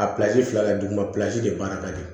A pilasi fila kɛ duguma plasi de baara ka di